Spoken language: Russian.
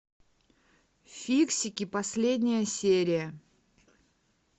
фиксики последняя серия